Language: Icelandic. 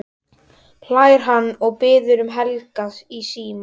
hlær hann og biður um Helga í símann.